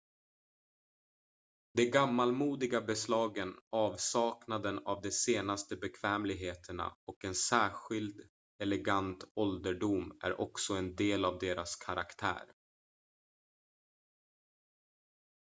de gammalmodiga beslagen avsaknaden av de senaste bekvämligheterna och en särskild elegant ålderdom är också en del av deras karaktär